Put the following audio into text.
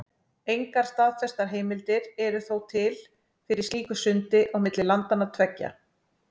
Engar staðfestar heimildir eru þó til fyrir slíku sundi á milli landanna tveggja.